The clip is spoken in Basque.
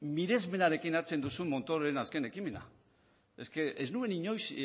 miresmenarekin hartzen duzun montororen azken ekimena ez nuen inoiz